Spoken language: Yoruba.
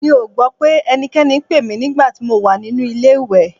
Mi ò gbọ́ pé ẹnikẹ́ni pè mí nígbà tí mo wà nínú ilé-ìwẹ̀